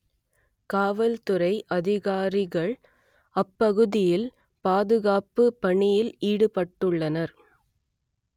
காவல்துறை அதிகாரிகள் அப்பகுதியில் பாதுகாப்பு பணியில் ஈடுபட்டுள்ளனர்